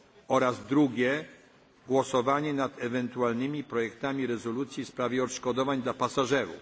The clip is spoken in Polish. Oraz drugie głosowanie nad ewentualnymi projektami rezolucji w sprawie odszkodowań dla pasażerów.